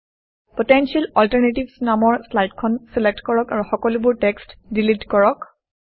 potential alternatives নামৰ শ্লাইডখন select কৰক আৰু সকলোবোৰ টেক্সট্ ডিলিট কৰক